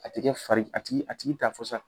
A ti kɛ fari, a tigi a tigi t'a fɔ sa